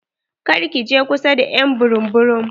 Kar ki je kusa da ƴ'an burum burum.